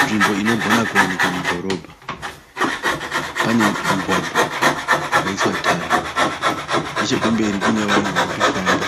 Nzvimbo inogona kuwanikwa mudhorobha. Pane mugwagwa wakaiswa tara, nechekumberi kune vanhu vari kufamba